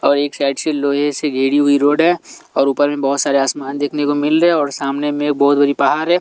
और एक साइड से लोहे से घेड़ी हुई रोड है और ऊपर में बहुत सारे आसमान देखने को मिल रहे हैं और सामने में एक बहुत बड़ी पहाड़ है।